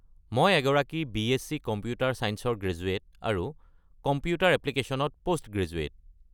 মই এগৰাকী B S C. Computer ছাইঞ্চৰ গ্ৰেজুৱেট আৰু কম্পিউটাৰ এপ্লিকেশ্যনছত পষ্টগ্ৰেজুৱেট।